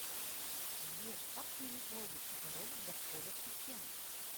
сбер как сменить логин и пароль для входа в систему